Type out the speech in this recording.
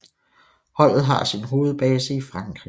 Holdet har sin hovedbase i Frankrig